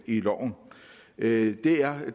i loven det er